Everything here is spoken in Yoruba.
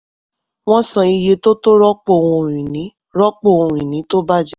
wọ́n san iye tó tó rọ́pò ohun-ìní rọ́pò ohun-ìní tó bàjẹ́.